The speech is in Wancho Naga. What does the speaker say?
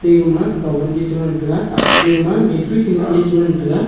ega ma kaon chi te ngan taiga ate ema battery kanun che te ngan taiga.